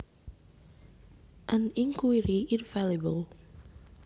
An Inquiry Infalibel